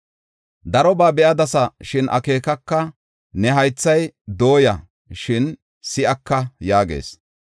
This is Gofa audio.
Darobaa be7adasa, shin akeekaka; ne haythay dooya, shin si7aka” yaagees.